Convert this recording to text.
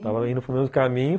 Estava indo para o mesmo caminho.